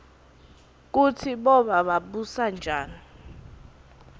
kutsi boba babusanjani